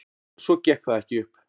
Svo gekk það ekki upp.